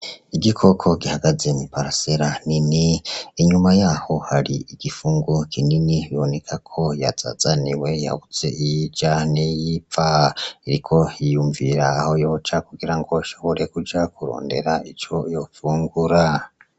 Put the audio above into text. Igikoko gihagaze mw'iparasera nini, inyuma yaho hari igifungo kinini biboneka ko yazazaniwe yabuze iyo ija n'iyo iva. Iriko yiyumvirira aho yoca kugira ngo ishobore kuja kurondera ico yofungura.